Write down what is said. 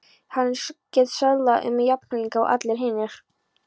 Hann gat söðlað um jafnrækilega og allir hinir.